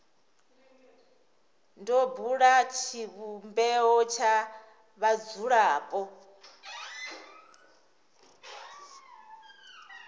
do bula tshivhumbeo tsha vhadzulapo